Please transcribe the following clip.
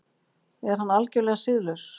Er hann algerlega siðlaus?